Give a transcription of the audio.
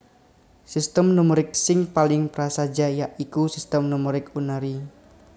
Sistem numerik sing paling prasaja ya iku Sistem numerik unary